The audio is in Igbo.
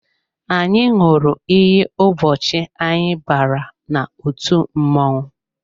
Anyị ṅụrụ iyi ụbọchị anyị bara n'otu mmọnwụ